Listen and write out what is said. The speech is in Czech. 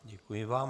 Děkuji vám.